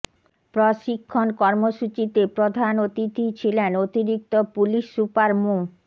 প্রশিক্ষণ কর্মসূচিতে প্রধান অতিথি ছিলেন অতিরিক্ত পুলিশ সুপার মো